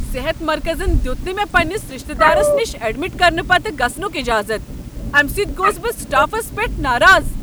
صحت مرکزن دیت نہٕ مےٚ پنٛنس رشتہ دارس نش ایڈمٹ کرنہٕ پتہٕ گژھنک اجازت۔ امہ سۭتۍ گوس بہٕ سٹافس پیٹھ ناراض۔